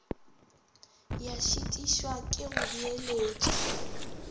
ya šitišwa ke go beeletša